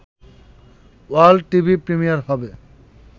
world TV premiere হবে